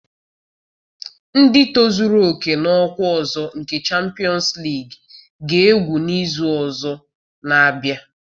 Ndị tozuru oke n'ọkwa ọzọ nke Champions League ga-egwu n'izu na-abịa.